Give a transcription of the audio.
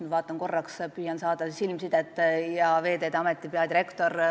Ma vaatan korraks üles ja püüan saada silmsidet Veeteede Ameti peadirektoriga.